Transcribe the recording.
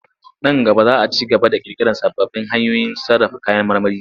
Nan gaba za a ci gaba da ƙirƙirar sababbin hanyoyin sarrafa kayan marmari.